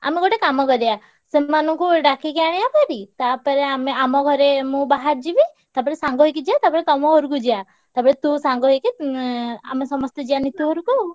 ଆମେ ଗୋଟେ କାମ କରିଆ ସେମାନଙ୍କୁ ଡାକିକି ଆଣିଆ ଭାରି ତାପରେ ଆମେ ଆମ ଘରେ ମୁଁ ବାହାରିଯିବି ତାପରେ ସାଙ୍ଗ ହେଇକି ଯିଆ। ତାପରେ ତମ ଘରକୁ ଯିଆ। ତାପରେ ତୁ ସାଙ୍ଗ ହେଇକି ଉଁ ଆମେ ସମସ୍ତେ ଯିଆ ନିତୁ ଘରୁକୁ।